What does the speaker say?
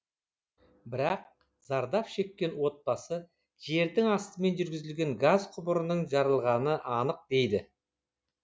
бірақ зардап шеккен отбасы жердің астымен жүргізілген газ құбырының жарылғаны анық дейді